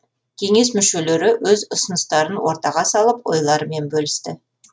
кеңес мүшелері өз ұсыныстарын ортаға салып ойларымен бөлісті